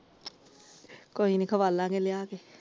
ਕੋਈ ਨੀ ਖਵਾਦਾਗੇ ਲਿਆ ਕੇ ।